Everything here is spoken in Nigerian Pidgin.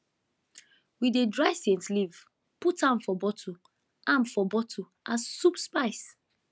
we dey dry scent leaf put am for bottle am for bottle as soup spice